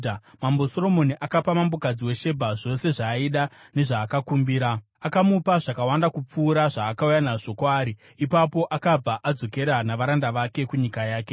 Mambo Soromoni akapa mambokadzi weShebha zvose zvaaida nezvaakakumbira; akamupa zvakawanda kupfuura zvaakauya nazvo kwaari. Ipapo akabva adzokera navaranda vake kunyika yake.